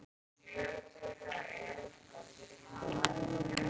Nei og mjög glöð með það.